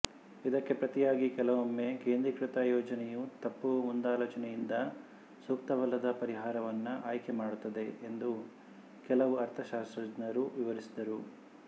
ಇದಕ್ಕೆ ಪ್ರತಿಯಾಗಿ ಕೆಲವೊಮ್ಮೆ ಕೇಂದ್ರಿಕೃತ ಯೋಜನೆಯು ತಪ್ಪು ಮುಂದಾಲೋಚನೆಯಿಂದ ಸೂಕ್ತವಲ್ಲದ ಪರಿಹಾರವನ್ನು ಆಯ್ಕೆಮಾಡುತ್ತದೆ ಎಂದು ಕೆಲವು ಅರ್ಥಶಾಸ್ತ್ರಜ್ಞರು ವಿವರಿಸಿದರು